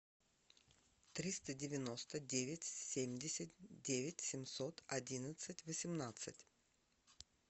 триста девяносто девять семьдесят девять семьсот одиннадцать восемнадцать